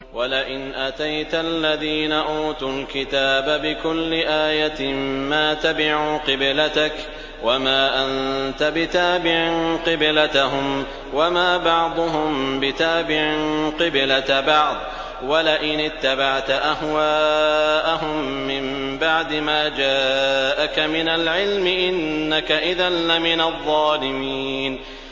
وَلَئِنْ أَتَيْتَ الَّذِينَ أُوتُوا الْكِتَابَ بِكُلِّ آيَةٍ مَّا تَبِعُوا قِبْلَتَكَ ۚ وَمَا أَنتَ بِتَابِعٍ قِبْلَتَهُمْ ۚ وَمَا بَعْضُهُم بِتَابِعٍ قِبْلَةَ بَعْضٍ ۚ وَلَئِنِ اتَّبَعْتَ أَهْوَاءَهُم مِّن بَعْدِ مَا جَاءَكَ مِنَ الْعِلْمِ ۙ إِنَّكَ إِذًا لَّمِنَ الظَّالِمِينَ